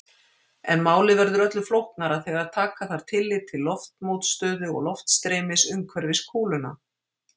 En málið verður öllu flóknara þegar taka þarf tillit til loftmótstöðu og loftstreymis umhverfis kúluna.